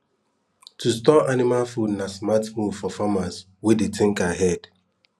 to store anima food na smart move for farmers wey dey think ahead